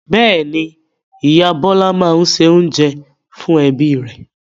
Bẹ́ẹ̀ ni, ìyá Bọ́lá máa ń se oúnjẹ fún ẹbí rẹ̀.